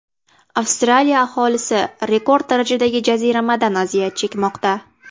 Avstraliya aholisi rekord darajadagi jaziramadan aziyat chekmoqda.